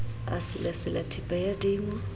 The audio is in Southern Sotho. a selasela theepe ya dimo